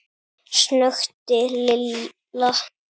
snökti Lilla.